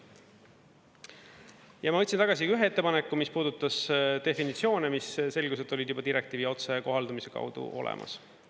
Ja ma võtsin tagasi ühe ettepaneku, mis puudutas definitsioone, mis, selgus, et olid juba direktiivi otsekohaldamise kaudu olemas.